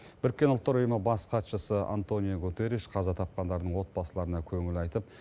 біріккен ұлттар ұйымы бас хатшысы антониу гутерриш қаза тапқандардың отбасыларына көңіл айтып